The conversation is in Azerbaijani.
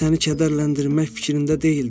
Mən səni kədərləndirmək fikrində deyildim.